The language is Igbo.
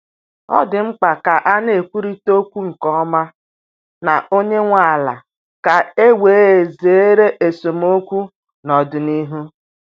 Ọ dị mkpa ka a na-ekwurịta okwu nke ọma na onye nwe ala ka e wee zere esemokwu n’ọdịnihu.